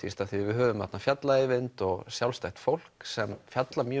því að við höfum þarna fjalla Eyvind og sjálfstætt fólk sem fjallar